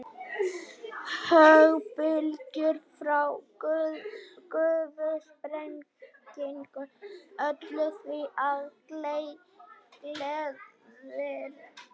Höggbylgjur frá gufusprengingum ollu því að glerið molnaði enn smærra.